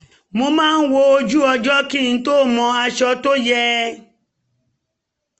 mo máa wo ojú-ọjọ kí n mọ aṣọ tó yẹ